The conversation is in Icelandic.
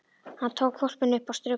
Hann tók hvolpinn upp og strauk honum.